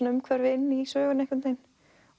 umhverfi inn í söguna